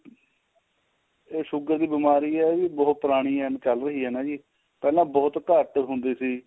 ਇਹ sugar ਦੀ ਬੀਮਾਰੀ ਏ ਜੀ ਬਹੁਤ ਪੁਰਾਣੀ ਏ ਚੱਲ ਰਹੀ ਏ ਨਾ ਜੀ ਪਹਿਲਾਂ ਬਹੁਤ ਘੱਟ ਹੁੰਦੀ ਸੀ